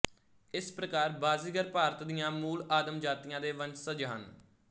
ਇਸ ਪ੍ਰਕਾਰ ਬਾਜ਼ੀਗਰ ਭਾਰਤ ਦੀਆਂ ਮੂਲ ਆਦਮ ਜਾਤੀਆਂ ਦੇ ਵੰਸਜ ਹਨ